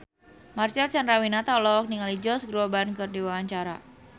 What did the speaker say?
Marcel Chandrawinata olohok ningali Josh Groban keur diwawancara